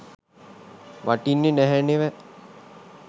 වටින්නේ නැහැ නෙව